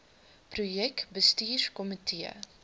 projek bestuurs komitee